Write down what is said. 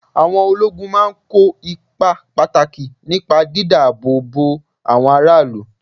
Àwọn ológun máa ń kó ipa pàtàkì nípa dídá-ààbò-bo àwọn ará ìlú.